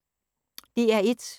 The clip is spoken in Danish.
DR1